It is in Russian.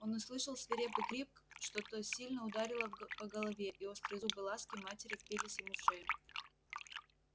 он услышал свирепый крик что-то сильно ударило его по голове и острые зубы ласки матери впились ему в шею